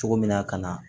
Cogo min na ka na